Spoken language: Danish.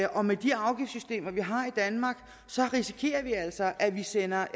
og med de afgiftssystemer vi har i danmark risikerer vi altså at vi sender